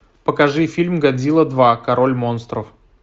покажи фильм годзилла два король монстров